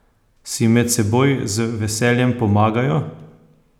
Si med seboj z veseljem pomagajo?